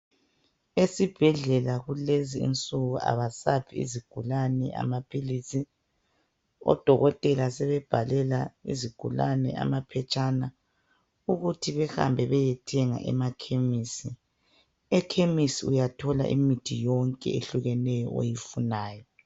Esibhedlela kulezinsuku abasaphi izigulane amaphilisi. Odokotela sebebhalela izigulane amaphetshana ukuthi behambe beyethenga emakhemisi. Ekhemisi uyathola imithi yonke eyehlukeneyo oyifunayo.